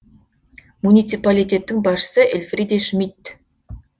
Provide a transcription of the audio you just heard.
муниципалитеттің басшысы эльфриде шмидт